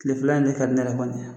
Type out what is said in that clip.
Tilefɛla in ne ka di ne yɛrɛ kɔni ye